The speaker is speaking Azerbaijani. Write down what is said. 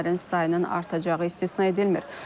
Ölənlərin sayının artacağı istisna edilmir.